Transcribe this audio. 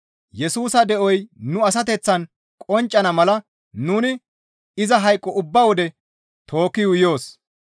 Yesusa de7oy nu asateththaan qonccana mala nuni iza hayqo ubba wode tookki yuuyoos.